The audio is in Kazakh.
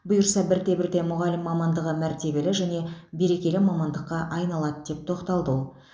бұйырса бірте бірте мұғалім мамандығы мәртебелі және берекелі мамандыққа айналады деп тоқталды ол